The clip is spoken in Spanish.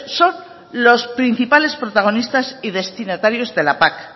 son los principales protagonistas y destinatarios de la pac